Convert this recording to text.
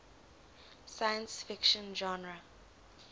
science fiction genre